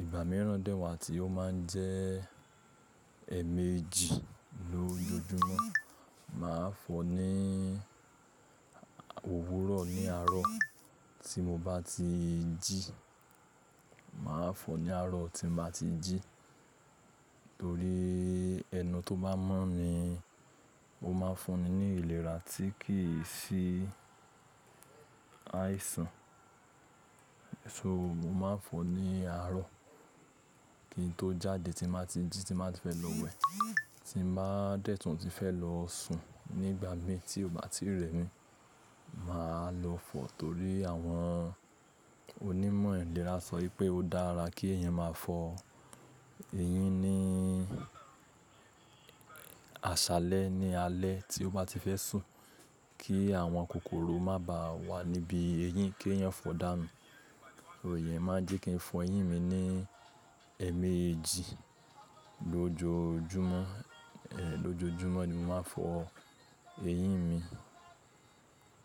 ìgbà mẹ́ran dè wá tí ó ma ń jẹ́ ẹẹ̀mẹ́jì lójoojúmọ́. Mà á fọ ní òwúrọ̀ ní àárọ̀ tí mo bá ti jí, mà á fọ ní àárọ̀ tí mo bá ti jí torí ẹnu tó bá mọ́ mi, ó ma ń fún mi ní ìlera tí kì í sí àìsàn. So mo mà n fọ ní àárọ̀ kí n tó jáde tí mà á ti jí tí mà á ti fẹ́ lọ wẹ̀, tí mà á dẹ̀ tún tí fẹ́ lọ sùn nígbà mín tí ó bá ti rẹ mi, mà á lọ fọ torí àwọn onímọ̀ ìlera sọ pé ó dára kí ẹ̀yàn máa fọ eyín ní aṣálẹ́ ní alẹ́ tí ó bá ti fẹ́ sùn kí àwọn kòkòrò má ba wà níbi eyín kí ẹ̀yàn fọ̀ dáa nù ẹ̀yẹn máa jẹ́ kí n fọ eyín mi ní ẹẹ̀mẹ́jì lójoojúmọ́, ẹ̀ lójoojúmọ́ ni mo máa ń fọ eyín mi.